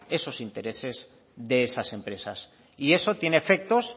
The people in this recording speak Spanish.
esos intereses de esas empresas y eso tiene efectos